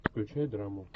включай драму